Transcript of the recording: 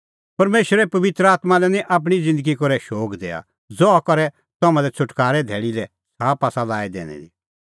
परमेशरे पबित्र आत्मां लै निं आपणीं ज़िन्दगी करै शोग दैआ ज़हा करै तम्हां लै छ़ुटकारे धैल़ी लै छ़ाप आसा लाई दैनी दी